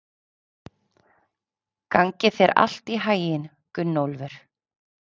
Gangi þér allt í haginn, Gunnólfur.